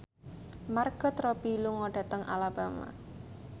Margot Robbie lunga dhateng Alabama